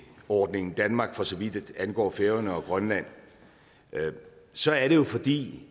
ordningen danmark for så vidt angår færøerne og grønland så er det jo fordi